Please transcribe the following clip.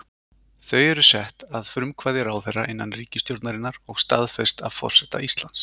Þau eru sett að frumkvæði ráðherra innan ríkisstjórnarinnar og staðfest af forseta Íslands.